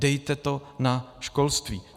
Dejte to na školství!